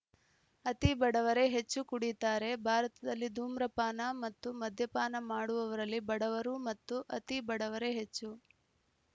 ಅತಿ ಬಡವರೇ ಹೆಚ್ಚು ಕುಡೀತಾರೆ ಭಾರತದಲ್ಲಿ ಧೂಮ್ರಪಾನ ಮತ್ತು ಮದ್ಯಪಾನ ಮಾಡುವವರಲ್ಲಿ ಬಡವರು ಮತ್ತು ಅತಿ ಬಡವರೇ ಹೆಚ್ಚು